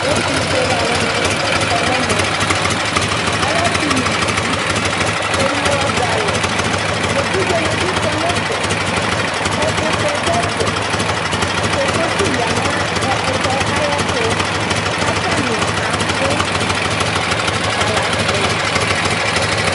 Ɛtʋfuele alʋnɩ kɔ nʋ ɛmɛ Alɛ asɩ nʋ uluvi Eyǝ ʋɣɔ dʋ alɛ Evidzenɩ bɩ kɔ nʋ ɛfɛ Ɛkʋtɛ dʋ ɛfɛ Kokosi ya nʋ ɛkʋtɛ yɛ ayɛtʋ kʋ atanɩ abʋ, ta la nʋ tɛ oo